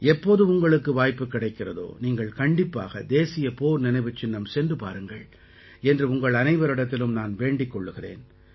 எப்போது உங்களுக்கு வாய்ப்புக் கிடைக்கிறதோ நீங்கள் கண்டிப்பாக தேசிய போர் நினைவுச்சின்னம் சென்று பாருங்கள் என்று உங்கள் அனைவரிடத்திலும் நான் வேண்டிக் கொள்கிறேன்